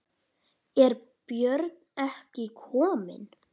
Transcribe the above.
Er Björn ekki kominn?